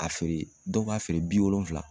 A fɛ yen dɔw b'a feere bi wolonfila.